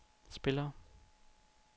spillere